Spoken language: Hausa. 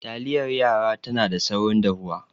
Taliyar yara tana da saurin dahuwa